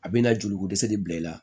A bɛna joli ko dɛsɛ de bila i la